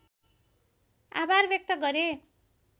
आभार व्यक्त गरे